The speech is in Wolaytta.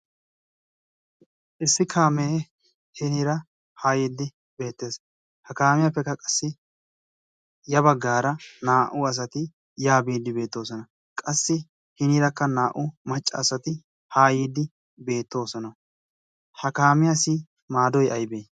issi kaamee hinira haa yiiddi beettees. ha kaamiyaappekka qassi ya baggaara naa'u asati yaa biiddi beettoosona. qassi hiniirakka naa'u maccaasati haa yiiddi beettoosona. ha kaamiyaassi maadoy aybee?